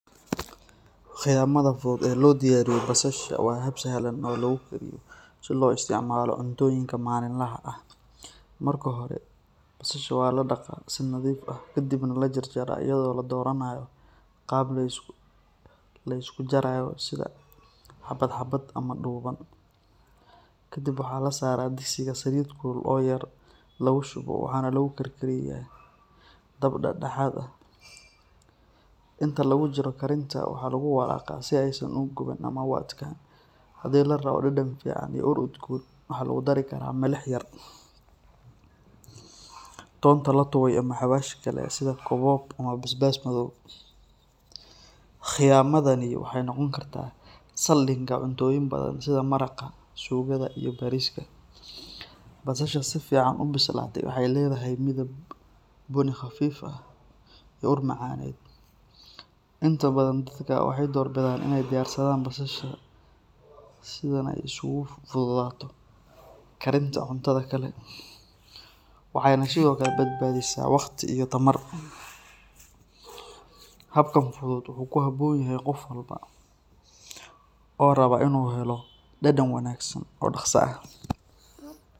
Khiyamada fudud ee loo diyaariyo basasha waa hab sahlan oo lagu kariyo si loo isticmaalo cuntooyinka maalinlaha ah. Marka hore, basasha waa la dhaqaa si nadiif ah kadibna la jarjaraa iyadoo la dooranayo qaab leysku jarayo sida xabad-xabad ama dhuuban. Kadib waxaa la saaraa digsiga saliid kulul oo yar lagu shubo waxaana lagu karkariyaa dab dhexdhexaad ah. Inta lagu jiro karinta, waxaa lagu walaaqaa si aysan u guban ama u adkaan. Haddii la rabo dhadhan fiican iyo ur udgoon, waxaa lagu dari karaa milix yar, toonta la tumay ama xawaash kale sida kookoob ama basbaas madow. Khiyamadani waxay noqon kartaa saldhigga cuntooyin badan sida maraqa, suugada, iyo bariiska. Basasha si fiican u bislaatay waxay leedahay midab bunni khafiif ah iyo ur macaaneed. Inta badan dadka waxay door bidaan inay diyaarsadaan basasha sidan si ay ugu fududaato karinta cuntada kale, waxayna sidoo kale badbaadisaa waqti iyo tamar. Habkan fudud wuxuu ku habboon yahay qof walba oo raba inuu helo dhadhan wanaagsan oo dhaqso ah.